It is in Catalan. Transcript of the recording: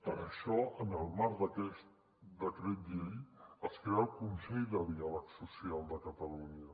per això en el marc d’aquest decret llei es crea el consell de diàleg social de catalunya